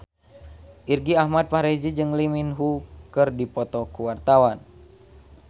Irgi Ahmad Fahrezi jeung Lee Min Ho keur dipoto ku wartawan